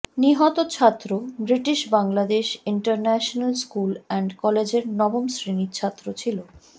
নিহত ছাত্র British Bangladesh international school and কলেজের নবম শ্রেণির ছাত্র ছিল